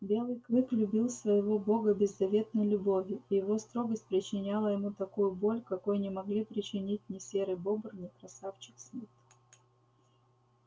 белый клык любил своею бога беззаветной любовью и его строгость причиняла ему такую боль какой не могли причинить ни серый бобр ни красавчик смит